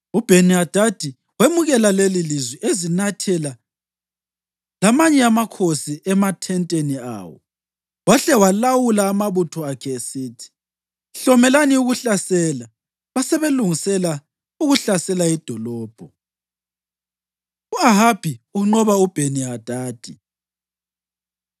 UBheni-Hadadi wemukela lelilizwi ezinathela lamanye amakhosi emathenteni awo, wahle walawula amabutho akhe esithi: “Hlomelani ukuhlasela.” Basebelungisela ukuhlasela idolobho. U-Ahabi Unqoba UBheni-Hadadi